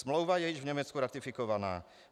Smlouva je již v Německu ratifikovaná.